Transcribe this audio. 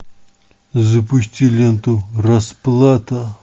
запусти ленту расплата